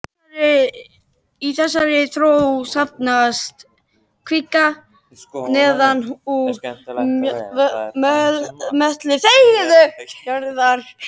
Í þessa þró safnast kvika neðan úr möttli jarðar.